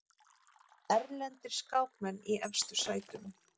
Erlendir skákmenn í efstu sætum